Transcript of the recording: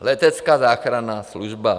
Letecká záchranná služba.